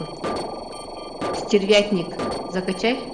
стервятник закачай